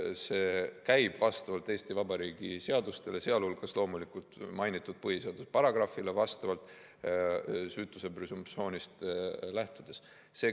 See käib vastavalt Eesti Vabariigi seadustele, sh loomulikult mainitud põhiseaduse paragrahvile, süütuse presumptsioonist lähtudes.